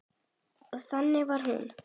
Og þannig var hún.